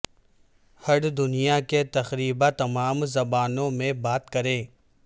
heard دنیا کے تقریبا تمام زبانوں میں بات کریں